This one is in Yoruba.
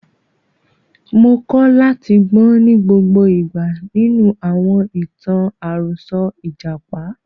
Mo kọ́ láti gbọ́n ní gbogbo ìgbà nínú àwọn ìtàn àròsọ ìjàpá.